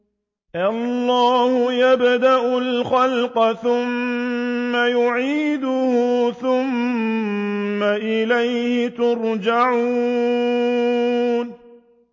اللَّهُ يَبْدَأُ الْخَلْقَ ثُمَّ يُعِيدُهُ ثُمَّ إِلَيْهِ تُرْجَعُونَ